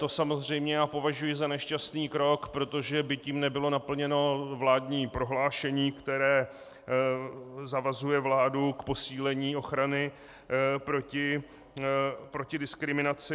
To samozřejmě považuji za nešťastný krok, protože by tím nebylo naplněno vládní prohlášení, které zavazuje vládu k posílení ochrany proti diskriminaci.